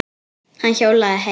Hann hjólaði heim.